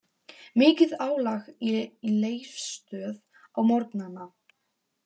Mikið álag í Leifsstöð á morgnana